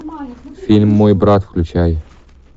фильм мой брат включай